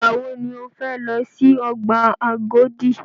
Ìgbà wọ ni o fẹ lọ si ọgbà Agodi?